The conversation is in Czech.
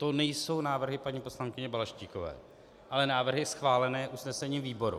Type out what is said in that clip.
To nejsou návrhy paní poslankyně Balaštíkové, ale návrhy schválené usnesením výboru.